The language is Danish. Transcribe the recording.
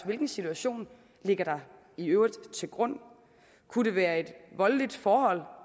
hvilken situation ligger der i øvrigt til grund kunne det være et voldeligt forhold